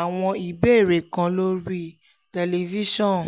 àwọn ìbéèrè kan lórí tẹlifíṣọ̀n